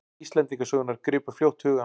Íslendingasögurnar gripu fljótt hugann.